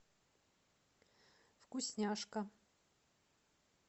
вкусняшка